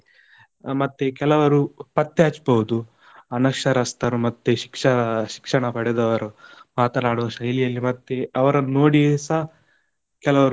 ಮತ್ತೆ ಕೆಲವರು ಪತ್ತೆ ಹಚ್ಚಬಹುದು ಅನಕ್ಷರಸ್ಥರು ಮತ್ತೆ ಶಿಕ್ಷ~ ಶಿಕ್ಷಣ ಪಡೆದವರು, ಮಾತನಾಡುವ ಶೈಲಿಯಲ್ಲಿ ಮತ್ತೆ ಅವರನ್ನು ನೋಡಿಸ ಕೆಲವರು.